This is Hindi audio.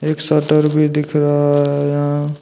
एक शटर भी दिख रहा है यहां।